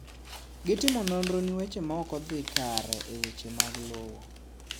Gitimo nonro ne weche maokodhii kare e weche mag lowo.